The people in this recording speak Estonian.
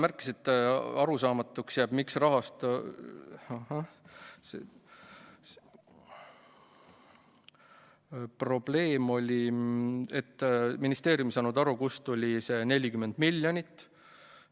Ministeeriumi esindaja märkis ära probleemi, nimelt ei saanud ministeerium aru, kust tuli see 40 miljonit.